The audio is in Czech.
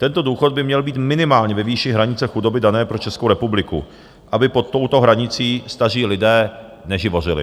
Tento důchod by měl být minimálně ve výši hranice chudoby dané pro Českou republiku, aby pod touto hranicí staří lidé neživořili.